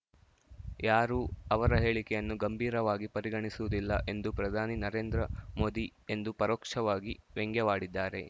ಯಾರೂ ಅವರ ಹೇಳಿಕೆಯನ್ನು ಗಂಭೀರವಾಗಿ ಪರಿಗಣಿಸುವುದಿಲ್ಲ ಎಂದು ಪ್ರಧಾನಿ ನರೇಂದ್ರ ಮೋದಿ ಎಂದು ಪರೋಕ್ಷವಾಗಿ ವ್ಯಂಗ್ಯವಾಡಿದ್ದಾರೆ